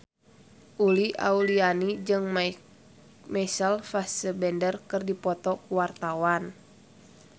Uli Auliani jeung Michael Fassbender keur dipoto ku wartawan